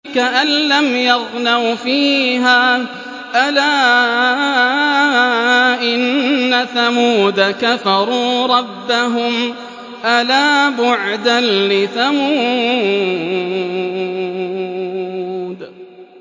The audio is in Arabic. كَأَن لَّمْ يَغْنَوْا فِيهَا ۗ أَلَا إِنَّ ثَمُودَ كَفَرُوا رَبَّهُمْ ۗ أَلَا بُعْدًا لِّثَمُودَ